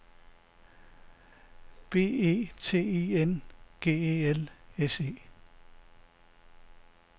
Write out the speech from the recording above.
B E T I N G E L S E